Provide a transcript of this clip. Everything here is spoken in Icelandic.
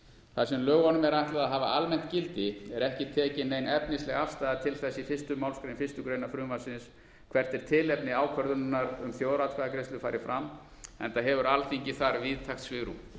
þar sem lögunum er ætlað að hafa almennt gildi er ekki tekin nein efnisleg afstaða til þess í fyrstu málsgrein fyrstu grein frumvarpsins hvert er tilefni ákvörðunar um að þjóðaratkvæðagreiðsla fari fram enda hefur alþingi þar víðtækt svigrúm